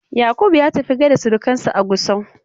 Yakubu ya tafi ya gaishe da surkansa a Gusau.